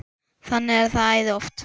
Þannig er það æði oft.